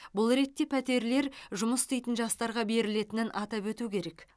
бұл ретте пәтерлер жұмыс істейтін жастарға берілетінін атап өту керек